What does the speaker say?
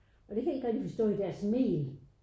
Og det kan jeg ikke rigtig forstå i deres mel